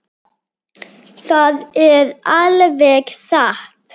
Það er alveg satt.